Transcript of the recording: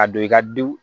A don i ka du